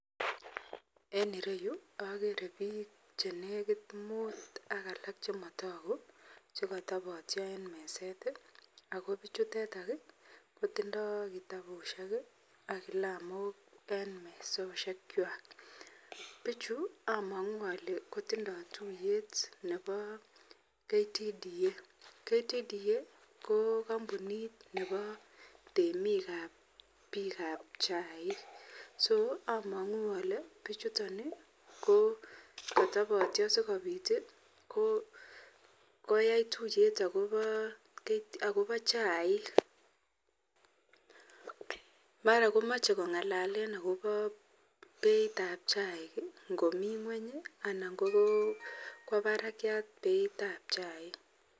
En ireyu agere bik chenekit mut akalak chimatagi chikatabatyo en meset akobichuteton kotindo kitabushek AK kilamok en mesisiek chwak buchu amangu Kole tindo tuiyet Nebo ktda ktda ko kampunit Nebo temik ab bik ab chaik amangu Kole bichuton ko katabatyo sikobit koyai tuiyet akobo chaik ako mara Mae kongalale akobo Beit ab chaik ngomii ngweny anan ngomii Barak Beit ab chaik